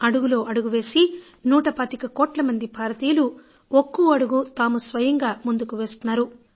అడుగులో అడుగు వేసి నూట పాతిక కోట్ల మంది భారతీయులు ఒక్కో అడుగు తాము స్వయంగా ముందుకు వేస్తున్నారు